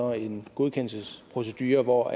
har en godkendelsesprocedure hvor